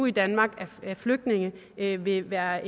i danmark af flygtninge vil vil være